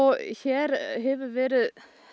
og hér hefur verið